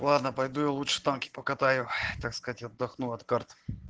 ладно пойду я лучше танки покатаю так сказать отдохну от карт